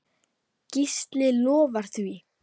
Gísli lofar því.